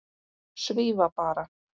Svífa bara.